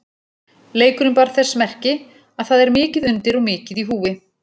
Leikurinn bar þess merki að það er mikið undir og mikið í húfi.